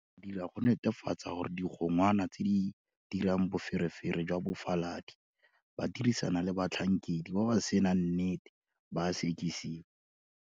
Re dira go netefatsa gore digongwana tse di dirang boferefere jwa bofaladi ba dirisana le batlhankedi ba ba senang nnete ba a sekisiwa.